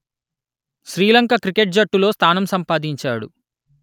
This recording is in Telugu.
శ్రీలంక క్రికెట్ జట్టులో స్థానం సంపాదించాడు